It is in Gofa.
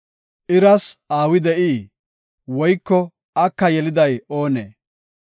Iras aawi de7ii? Woyko aka yeliday oonee?